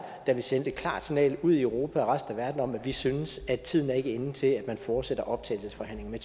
da vi sendte et klart signal ud i europa og resten af verden om at vi ikke synes at tiden er inde til at man fortsætter optagelsesforhandlingerne